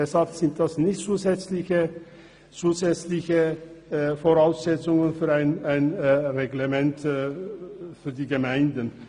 Deshalb sind das nicht zusätzliche Voraussetzungen für ein Gemeindereglement.